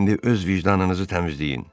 İndi öz vicdanınızı təmizləyin.